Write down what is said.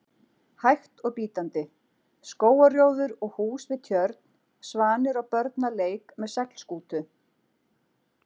hægt og bítandi: skógarrjóður og hús við tjörn, svanir og börn að leik með seglskútu.